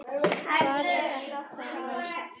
Hvað er þetta, Rósa?